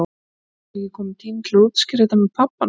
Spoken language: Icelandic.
Ætli það sé ekki kominn tími til að útskýra þetta með pabba hans?